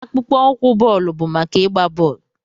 Akpụkpọ ụkwụ bọọlụ bụ maka ịgba bọọlụ.